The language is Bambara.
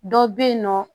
Dɔ bɛ yen nɔ